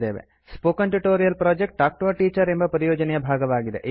spoken tutorial project talk to a teacher ಎಂಬ ಪರಿಯೋಜನೆಯ ಭಾಗವಾಗಿದೆ